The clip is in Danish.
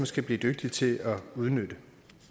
skal blive dygtige til at udnytte